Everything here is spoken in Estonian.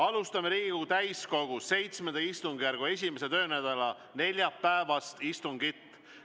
Alustame Riigikogu täiskogu VII istungjärgu 1. töönädala neljapäevast istungit.